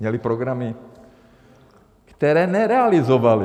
Měly programy, které nerealizovaly.